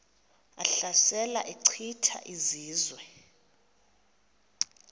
ehlasela echitha izizwe